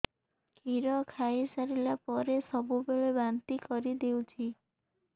କ୍ଷୀର ଖାଇସାରିଲା ପରେ ସବୁବେଳେ ବାନ୍ତି କରିଦେଉଛି